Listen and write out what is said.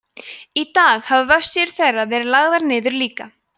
í dag hafa vefsíður þeirra verið lagðar niður líka